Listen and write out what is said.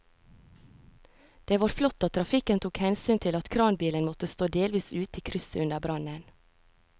Det var flott at trafikken tok hensyn til at kranbilen måtte stå delvis ute i krysset under brannen.